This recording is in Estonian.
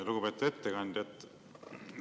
Lugupeetud ettekandja!